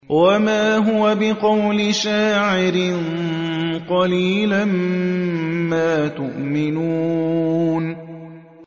وَمَا هُوَ بِقَوْلِ شَاعِرٍ ۚ قَلِيلًا مَّا تُؤْمِنُونَ